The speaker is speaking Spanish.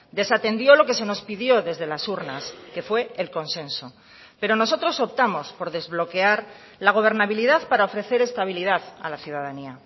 desatendió lo que se nos pidió desde las urnas que fue el consenso pero nosotros optamos por desbloquear la gobernabilidad para ofrecer estabilidad a la ciudadanía